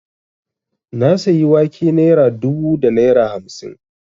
Na sayi wake naira dubu da naira hamsin